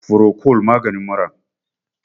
furocol namagin mura